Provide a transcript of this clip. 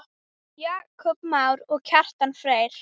Jakob Már og Kjartan Freyr.